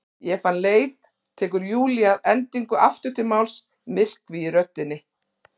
Ég fann leið, tekur Júlía að endingu aftur til máls, myrkvi í röddinni.